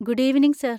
Good evening sir!